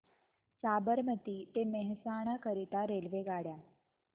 साबरमती ते मेहसाणा करीता रेल्वेगाड्या